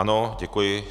Ano, děkuji.